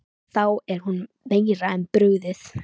Þá er honum meira en brugðið.